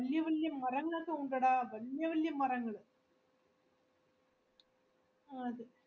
വല്യ വല്യ മരങ്ങളൊക്കെ ഉണ്ടെടാ വല്യ വല്യ മരങ്ങൾ ആഹ് അതെ